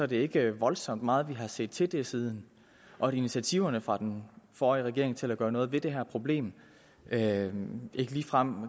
det ikke voldsomt meget vi har set til det siden og initiativer fra den forrige regering til at gøre noget ved det her problem glimrede ikke ligefrem